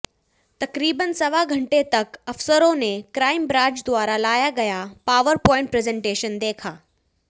तकरीबन सवा घंटे तक अफसरों ने क्राइम ब्रांच द्वारा लाया गया पावर प्वाइंट प्रेजेंटेशन देखा